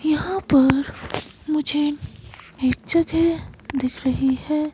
यहां पर मुझे एक जगह दिख रही है।